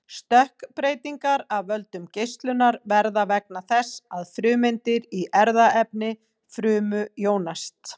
stökkbreytingar af völdum geislunar verða vegna þess að frumeindir í erfðaefni frumu jónast